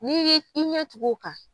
N'i ye i ɲɛ tuk'o kan,